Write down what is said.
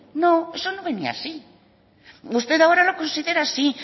no eso no venía así usted ahora lo considera así